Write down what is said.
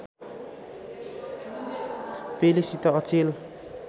पेलेसित अचेल